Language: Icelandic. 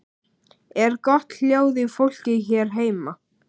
Er gott hljóð í fólki hér heima?